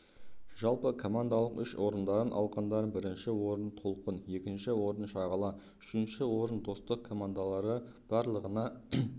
жалпы командалық үш орындарын алғандар бірінші орын толқын екінші орын шағала үшінші орын достық командалары барлығына